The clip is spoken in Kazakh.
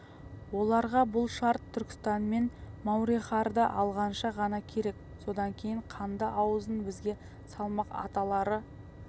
оларға бұл шарт түркістан мен мауреннахрды алғанша ғана керек содан кейін қанды аузын бізге салмақ аталары